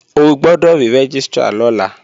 O gbọ́dọ̀ rí Rẹ́gístrà lọ́la!